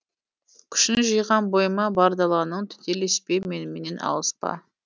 күшін жиғам бойыма бар даланың тетелеспе меніменен алыспа